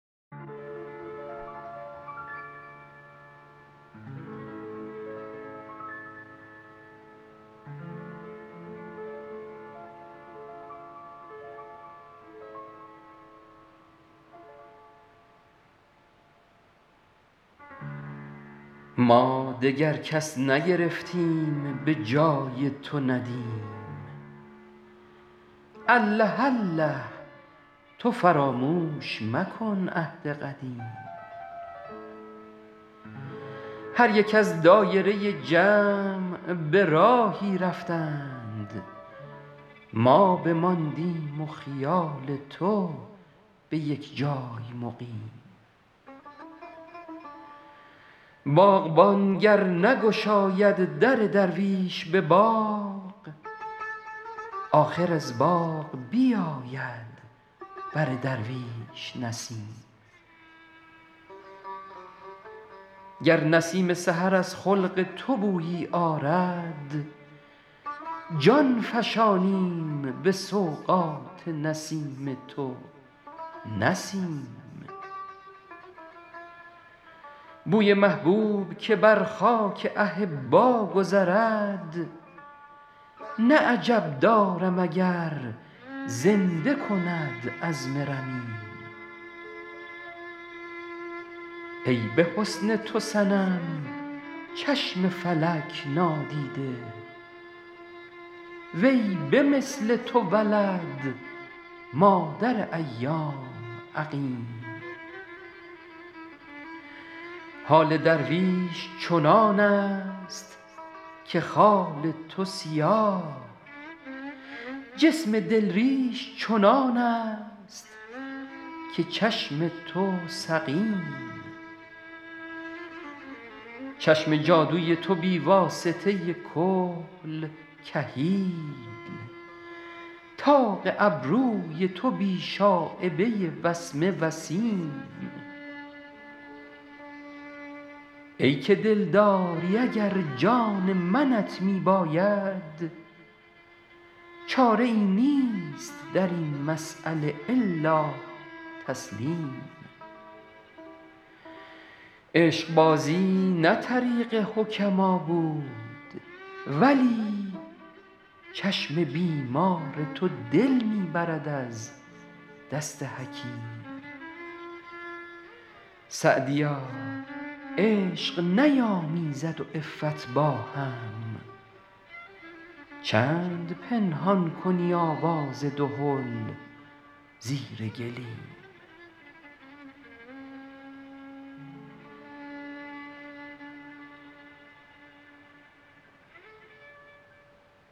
ما دگر کس نگرفتیم به جای تو ندیم الله الله تو فراموش مکن عهد قدیم هر یک از دایره جمع به راهی رفتند ما بماندیم و خیال تو به یک جای مقیم باغبان گر نگشاید در درویش به باغ آخر از باغ بیاید بر درویش نسیم گر نسیم سحر از خلق تو بویی آرد جان فشانیم به سوغات نسیم تو نه سیم بوی محبوب که بر خاک احبا گذرد نه عجب دارم اگر زنده کند عظم رمیم ای به حسن تو صنم چشم فلک نادیده وی به مثل تو ولد مادر ایام عقیم حال درویش چنان است که خال تو سیاه جسم دل ریش چنان است که چشم تو سقیم چشم جادوی تو بی واسطه کحل کحیل طاق ابروی تو بی شایبه وسمه وسیم ای که دلداری اگر جان منت می باید چاره ای نیست در این مسأله الا تسلیم عشقبازی نه طریق حکما بود ولی چشم بیمار تو دل می برد از دست حکیم سعدیا عشق نیامیزد و عفت با هم چند پنهان کنی آواز دهل زیر گلیم